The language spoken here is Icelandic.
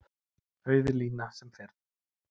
Auð lína sem fyrr.